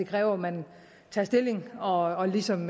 kræver at man tager stilling og ligesom